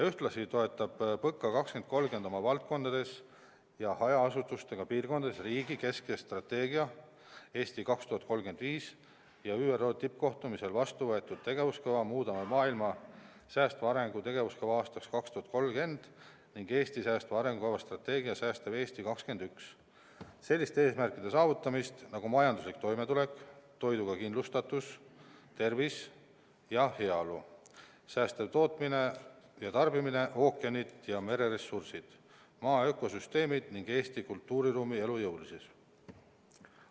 Ühtlasi toetab PõKa 2030 oma valdkondades ja hajaasustusega piirkondades riigi keskse strateegia "Eesti 2035" ja ÜRO tippkohtumisel vastuvõetud tegevuskava "Muudame maailma: säästva arengu tegevuskava aastaks 2030" ning Eesti säästva arengu strateegia "Säästev Eesti 21" selliste eesmärkide saavutamist nagu majanduslik toimetulek, toiduga kindlustatus, tervis ja heaolu, säästev tootmine ja tarbimine, ookeanid ja mereressursid, Maa ökosüsteemid ning Eesti kultuuriruumi elujõulisus.